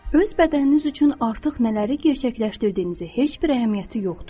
Öz bədəniniz üçün artıq nələri gerçəkləşdirdiyinizi heç bir əhəmiyyəti yoxdur.